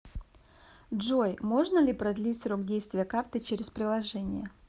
джой можно ли продлить срок действия карты через приложение